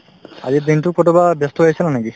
আজিৰ দিনতো কৰবাত ব্যস্ত হৈ আছিলা নেকি ?